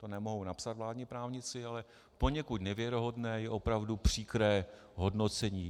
To nemohou napsat vládní právníci, ale poněkud nevěrohodné je opravdu příkré hodnocení.